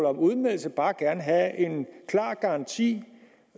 om udmeldelse bare gerne have en klar garanti